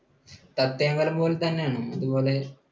സത്യമംഗലം പോലെ തന്നെയാണോ? അതുപോലെ?